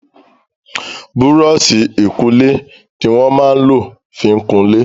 Búrọ̀ọ̀ṣì ìkunlé ní wón má lọ fín kunlẹ.